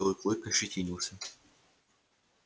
белый клык ощетинился